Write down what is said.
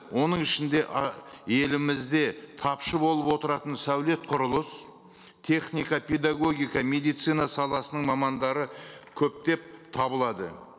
оның ішінде ы елімізде тапшы болып отыратын сәулет құрылыс техника педагогика медицина саласының мамандары көптеп табылады